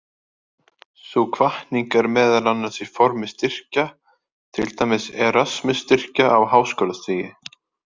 Sú hvatning er meðal annars í formi styrkja, til dæmis Erasmus-styrkja á háskólastigi.